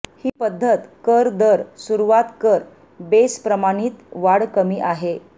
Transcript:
ही पद्धत कर दर सुरुवात कर बेस प्रमाणीत वाढ कमी आहे